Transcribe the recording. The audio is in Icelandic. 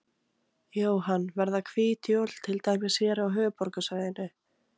Jóhann: Verða hvít jól til dæmis hér á höfuðborgarsvæðinu?